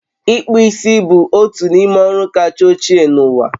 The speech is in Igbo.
Ịkpụ isi bụ otu n'ime ọrụ kacha ochie n'ụwa